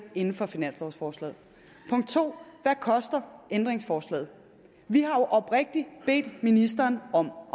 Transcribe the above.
inden for finanslovforslaget punkt 2 hvad koster ændringsforslaget vi har jo oprigtig bedt ministeren om